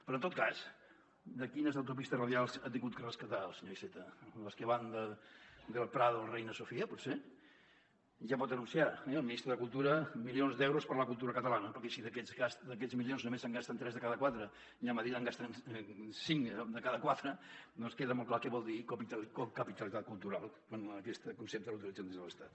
però en tot cas quines autopistes radials ha hagut de rescatar el senyor iceta les que van del prado al reina sofía potser ja pot anunciar el ministre de cultura milions d’euros per a la cultura catalana perquè si d’aquests milions només se’n gasten tres de cada quatre i a madrid en gasten cinc de cada quatre doncs queda molt clar què vol dir cocapitalitat cultural quan aquest concepte l’utilitzen des de l’estat